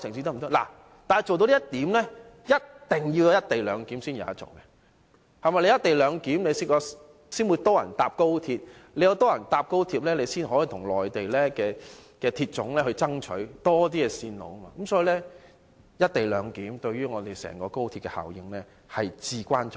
不過，要做到這一點，便一定要落實"一地兩檢"，只有落實"一地兩檢"，才會有更多人乘搭高鐵，有更多人乘搭高鐵才可跟中國鐵路總公司爭取興建多一些線路，所以"一地兩檢"對整個高鐵的效益至為重要。